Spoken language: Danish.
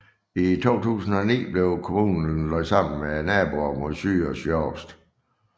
I 2009 blev kommunen lagt sammen med naboerne mod syd og sydøst